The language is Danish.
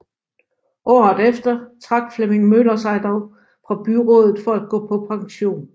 Året efter trak Flemming Møller sig dog fra byrådet for at gå på pension